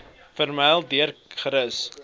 vermy deel gerus